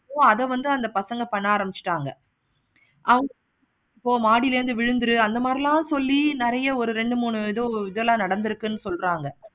ஓ அத வந்து அந்த பசங்க பண்ண ஆரம்பிச்சிட்டாங்க. ஆஹ் இப்போ மாடியில இருந்து விழுந்துரு அந்த மாதிரி எல்லாம் சொல்லி நெறைய ஒரு ரெண்டு மூணு சொல்லி இதெல்லாம் நடந்துருக்கு சொல்றாங்க.